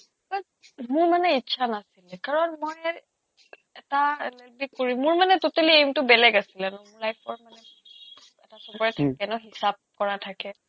but মোৰ মানে ইচ্ছা নাছিলে কাৰণ মই এটা LLB কৰিম মোৰ মানে totally aim টো বেলেগ আছিলে ন মোৰ life ৰ মানে এটা চবৰে থাকে ন হিচাপ কৰা থাকে